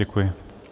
Děkuji.